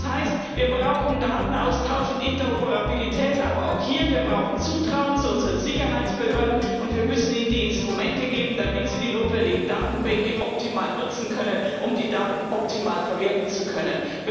Das heißt Wir brauchen Datenaustausch und Interoperabilität, aber auch hier brauchen wir Zutrauen zu unseren Sicherheitsbehörden, und wir müssen ihnen die Instrumente geben, damit sie die notwendigen Datenbanken optimal nutzen können, um die Daten optimal verwerten zu können.